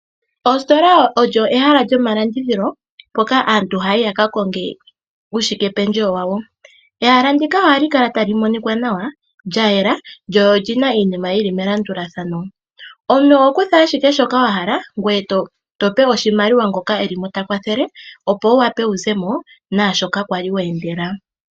Ositolo olyo ehala lyomalandithilo mpoka aantu ha yayi ya ka konge uushike pendjewo wawo. Ehala ndika oha li kala tali monikwa nawa, lya yela lyo olyina iinima yili melandulathano. Omuntu oho kutha ashike shoka wahala ngoye to pe oshimaliwa ngoka e li mo takwathele. Opo wu wape wuzemo naashoka kwali wa endela